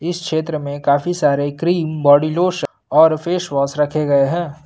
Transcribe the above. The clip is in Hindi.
क्षेत्र में काफी सारे क्रीम बॉडी लोशन और फेस वॉश रखे गए हैं।